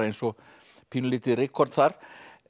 eins og pínulítið rykkorn þar